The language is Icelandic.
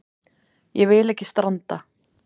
Ég vil ekki stranda.